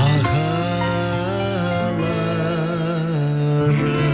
ағаларым